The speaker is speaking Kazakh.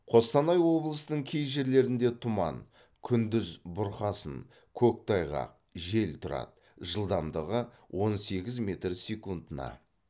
қостанай облысының кей жерлерінде тұман күндіз бұрқасын көктайғақ жел тұрады жылдамдығы он сегіз метр секундына